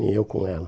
Nem eu com ela.